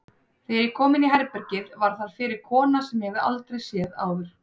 Þegar ég kom inní herbergið var þar fyrir kona sem ég hafði aldrei séð áður.